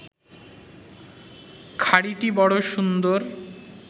খাড়িটি বড় সুন্দর